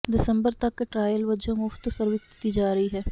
ਦਿਸੰਬਰ ਤਕ ਟਰਾਇਲ ਵਜੋਂ ਮੁਫ਼ਤ ਸਰਵਿਸ ਦਿੱਤੀ ਜਾ ਰਹੀ ਹੈ